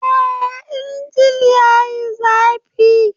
Eh! injin yayi zafi.